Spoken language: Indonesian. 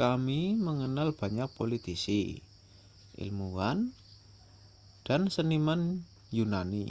kami mengenal banyak politisi ilmuwan dan seniman yunani